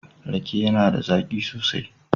Rake yAna da zaki sosai